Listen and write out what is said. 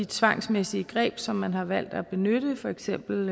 tvangsmæssige greb som man har valgt at benytte for eksempel